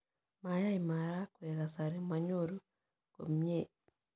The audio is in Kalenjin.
Ma yai maragwek kasari, manyoru komnyie.